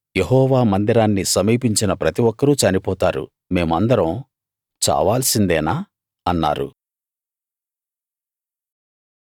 యెహోవా మందిరాన్ని సమీపించిన ప్రతిఒక్కరూ చనిపోతారు మేమందరం చావాల్సిందేనా అన్నారు